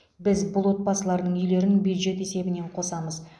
біз бұл отбасылардың үйлерін бюджет есебінен қосамыз